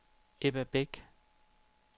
Ebba Beck